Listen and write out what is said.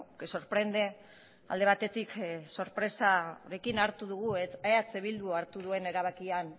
que sorprende alde batetik sorpresarekin hartu dugu eh bildu hartu duen erabakia